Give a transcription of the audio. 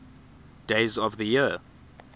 days of the year